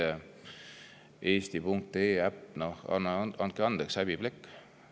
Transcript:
Seesama Eesti.ee äpi näide – no andke andeks, häbiplekk!